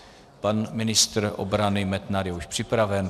Pan ministr obrany Metnar je už připraven.